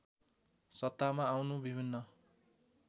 सत्तामा आउनु विभिन्न